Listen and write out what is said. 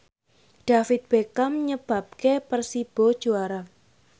David Beckham nyebabke Persibo juara